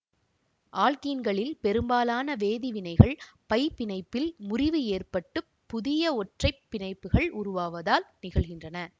ஆல்க்கீன்களின் பெரும்பாலான வேதிவினைகள் பை பிணைப்பில் முறிவு ஏற்பட்டுப் புதிய ஒற்றை பிணைப்புகள் உருவாவதால் நிகழ்கின்றன